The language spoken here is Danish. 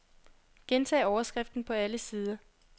Gentag overskriften på alle sider.